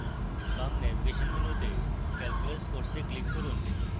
বাম ন্যাভিগেশন মেনুতে calculus course click করুন